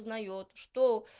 узнает что